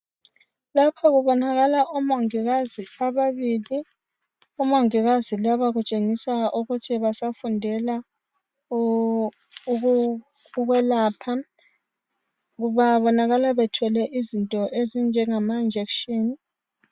lapha kubonakala omongikazi ababili omongikazi laba kutshengisa ukuthi basafundela ukwelapha babonakala bethwele izinto ezinjengama njekitshini